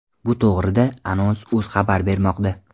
Bu to‘g‘rida Anons.uz xabar bermoqda .